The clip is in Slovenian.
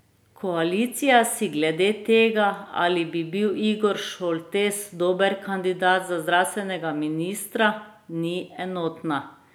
Koalicija si glede tega, ali bi bil Igor Šoltes dober kandidat za zdravstvenega ministra, ni enotna.